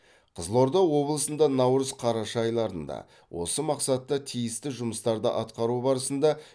қызылорда облысында наурыз қараша айларында осы мақсатта тиісті жұмыстарды атқару барысында